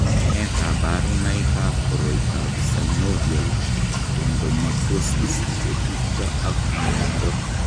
Nee kabarunoikab koroitoab Synovial chondromatosis che tupcho ak nwogindo.